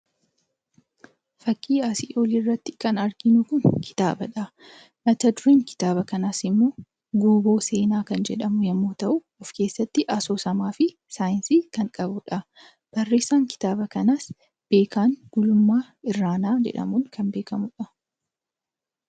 Fakkii asii gadii irratti kan arginu kun kitaabadha. Mat-dureen kitaaba kanaas immoo "Guuboo seenaa" kan jedhamu yoo ta'u, of keessatti asoosamaa fi saayinsii kan qabudha. Barreessaan kitaaba kanaas Beekan Gulummaa Irranaa jedhamuun kan beekamudha.